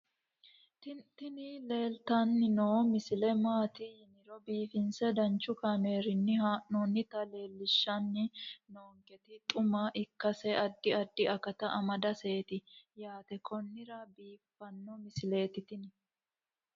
tini leeltanni noo misile maaati yiniro biifinse danchu kaamerinni haa'noonnita leellishshanni nonketi xuma ikkase addi addi akata amadaseeti yaate konnira biiffanno misileeti tini